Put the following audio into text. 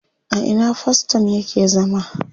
A ina faston yake zama?